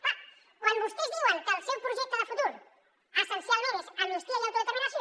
clar quan vostès diuen que el seu projecte de futur essencialment és amnistia i autodeterminació